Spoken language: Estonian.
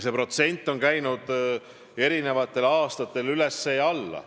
See protsent on käinud eri aastatel üles ja alla.